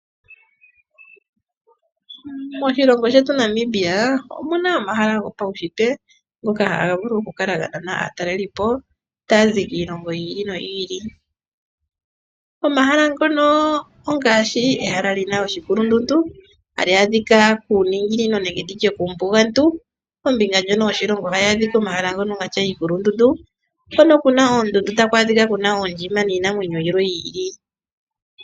Moshilongo shetu Namibia omu na omahala gopaunshitwe ngoka haga vulu okukala ga nana aatalelipo taya zi iilongo yi ili noyi ili. Omahala ngono ongaashi ehala li na oshikulundundu tali adhika kuuninginino nenge ndi tye kuumbugantu kombinga ndjono yoshilongo tayi adhika komahala ngono ga tya iikulundundu, hono ku na oondundu ta ku adhika ku na oondjima niinamwenyo yimwe yi ili.